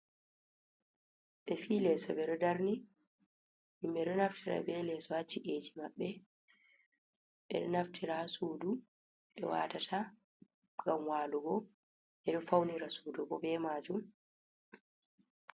Befi leso beɗo darni himɓe ɗo naftira be leso haci’eji mabbe. Be ɗoo naftira ha sudu be watata ngam walugo bedo faunira sudubo be majum.